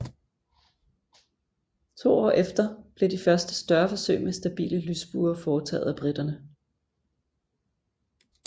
To år efter blev de første større forsøg med stabile lysbuer foretaget af briterne A